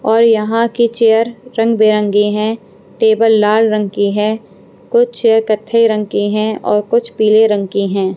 और यहाँ की चेयर रंगबिरंगी हैं टेबल लाल रंग की है कुछ चेयर कथई रंग की हैं और कुछ पीले रंग की हैं।